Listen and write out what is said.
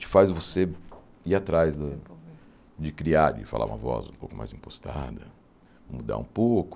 Te faz você ir atrás de de criar, de falar uma voz um pouco mais impostada, mudar um pouco.